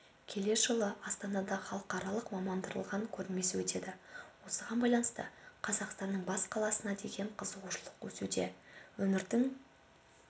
келер жылы астанада халықаралық мамандандырылған көрмесі өтеді осыған байланысты қазақстанның бас қаласына деген қызығушылық өсуде өмірдің